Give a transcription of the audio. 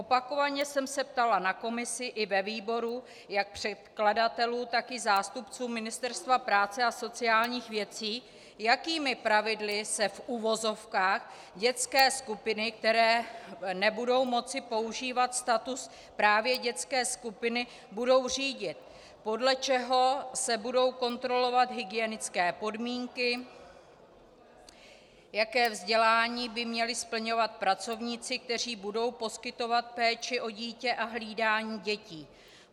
Opakovaně jsem se ptala na komisi i ve výboru jak předkladatelů, tak i zástupců Ministerstva práce a sociálních věcí, jakými pravidly se, v uvozovkách, dětské skupiny, které nebudou moci používat status právě dětské skupiny, budou řídit, podle čeho se budou kontrolovat hygienické podmínky, jaké vzdělání by měli splňovat pracovníci, kteří budou poskytovat péči o dítě a hlídání dětí.